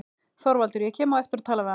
ÞORVALDUR: Ég kem á eftir og tala við hann.